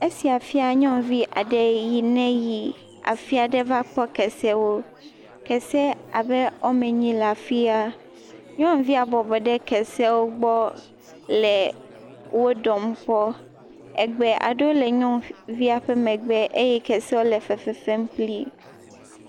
esia fia nyɔnu aɖe yi ne yi afiaɖe vakpɔ kesewo kese abe wɔmenyi le afia nyɔŋuvia bɔbɔ ɖe keseawo gbɔ le wó ɖɔm kpɔ egbe aɖewo le nyɔŋuvia ƒe megbe eye keseawo le fefefem kplii